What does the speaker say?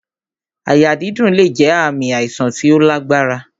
Àyà dídùn lè jẹ ààmì àìsàn tí ó lágbára